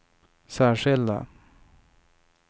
särskilda